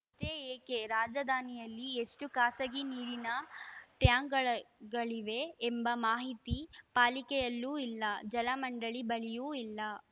ಷ್ಟೇ ಏಕೆ ರಾಜಧಾನಿಯಲ್ಲಿ ಎಷ್ಟು ಖಾಸಗಿ ನೀರಿನ ಟ್ಯಾಂಕ್ ಟ್ಯಾಂಕಗಳಿವೆ ಎಂಬ ಮಾಹಿತಿ ಪಾಲಿಕೆಯಲ್ಲೂ ಇಲ್ಲ ಜಲಮಂಡಳಿ ಬಳಿಯೂ ಇಲ್ಲ